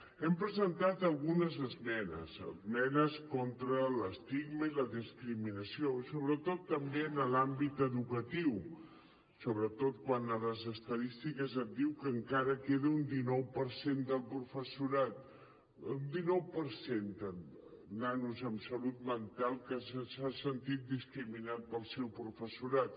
hem presentat algunes esmenes esmenes contra l’estigma i la discriminació i sobretot també en l’àmbit educatiu sobretot quan a les estadístiques et diuen que encara queda un dinou per cent de nanos en salut mental que s’ha sentit discriminat pel seu professorat